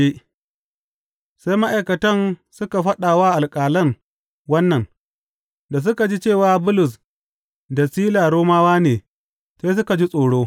Sai ma’aikatan suka faɗa wa alƙalan wannan, da suka ji cewa Bulus da Sila Romawa ne, sai suka ji tsoro.